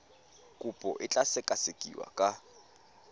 kopo e tla sekasekiwa ka